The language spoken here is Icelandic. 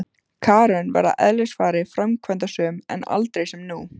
Karen var að eðlisfari framkvæmdasöm en aldrei sem nú.